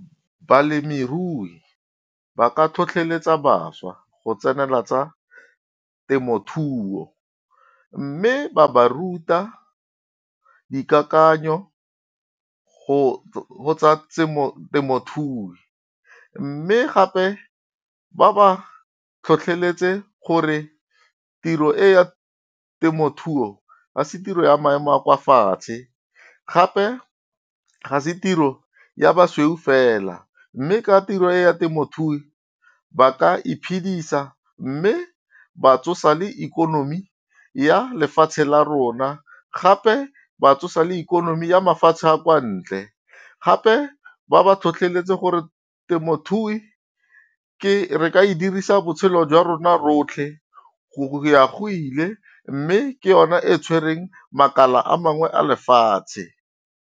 Balemirui ba ka tlhotlheletsa bašwa go tsenela tsa temothuo, mme ba ba ruta dikakanyo go tsa temothuo. Mme gape ba ba tlhotlheletse gore tiro e ya temothuo ga se tiro ya maemo a kwa fatshe. Gape ga se tiro ya basweu fela mme ka tiro e ya temothuo, ba ka iphedisa mme ba tsosa le ikonomi ya lefatshe la rona gape ba tsosa le ikonomi ya mafatshe a kwa ntle. Gape ba ba tlhotlheletse gore temothuo re ka e dirisa botshelo jwa rona rotlhe, go ya go ile, mme ke yone e tshwereng makala a mangwe a lefatshe.